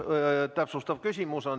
Jevgeni Ossinovskil on täpsustav küsimus.